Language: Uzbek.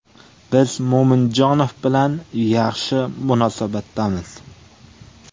Biz Mo‘minjonov bilan yaxshi munosabatdamiz.